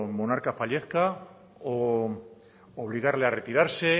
monarca fallezca u obligarle a retirarse